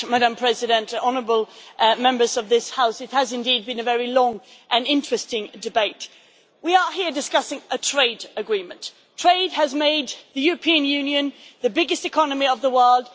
Madam President, honourable Members of this House, it has indeed been a very long and interesting debate. We are here discussing a trade agreement. Trade has made the European Union the biggest economy of the world.